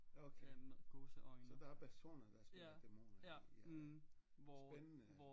Okay så der er personer der spiller dæmoner i i spændende